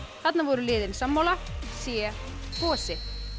þarna voru liðin sammála c gosi